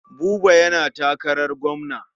Buba yana takarar gwamna.